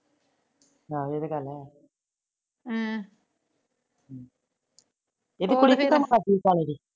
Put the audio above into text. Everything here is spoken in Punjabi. ਹਾਏ ਇਹ ਤਾਂ ਗੱਲ ਹੈ। ਹਮ ਇਹਦੀ ਕੁੜੀ ਨੀ ਕਾਲ਼ੇ ਦੀ